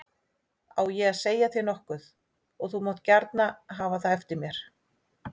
Á ég að segja þér nokkuð og þú mátt gjarna hafa það eftir mér.